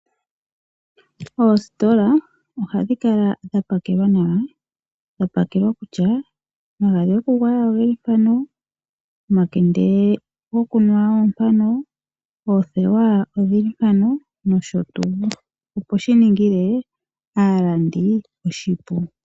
Oositola ohadhi kala dha pakelwa nawa, dhapakelwa kutya omagadhi gokugwaya ogeli mpaka, omakende gokunwa ogeli mpaka, oothewa odhimpano nosho tuu, opo shi ningile aalandi oshipu.